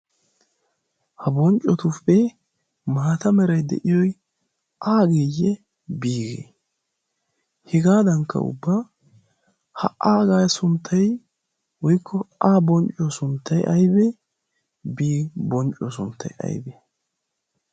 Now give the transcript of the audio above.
ha bonccotuppe maata merai de'iyoi aageeyye biigee hegaadankka ubba ha aagay sunttai woykko a bonccuyo sunttay aybee bii bonccuyo sunttai aibee?